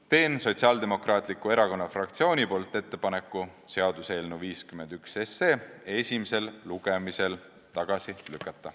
Teen Sotsiaaldemokraatliku Erakonna fraktsiooni nimel ettepaneku seaduseelnõu 51 esimesel lugemisel tagasi lükata.